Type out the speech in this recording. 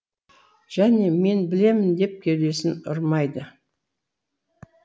және мен білемін деп кеудесін ұрмайды